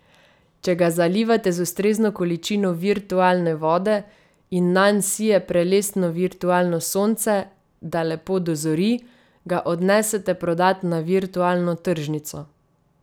Če ga zalivate z ustrezno količino virtualne vode in nanj sije prelestno virtualno sonce, da lepo dozori, ga odnesete prodat na virtualno tržnico.